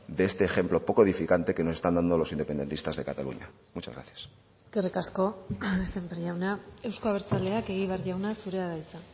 de este ejemplo poco edificante que nos están dando los independentistas de cataluña muchas gracias eskerrik asko sémper jauna euzko abertzaleak egibar jauna zurea da hitza